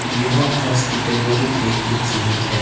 यह हॉस्पिटल बहुत ही खूबसूरत है।